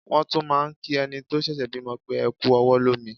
Wọ́n tún máà ń kí ẹni tó ṣẹ̀ṣẹ̀ bímọ pé "ẹ kú ọwọ́ lómi".